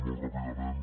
molt ràpidament